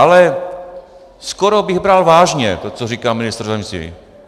Ale skoro bych bral vážně to, co říká ministr zdravotnictví.